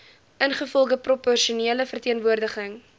ingevolge proporsionele verteenwoordiging